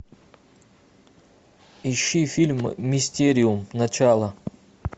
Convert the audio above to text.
ищи фильм мистериум начало